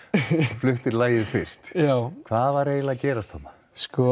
fluttir lagið fyrst hvað var eiginlega að gerast þarna